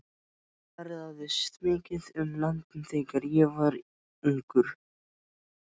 Ég ferðaðist mikið um landið þegar ég var ungur.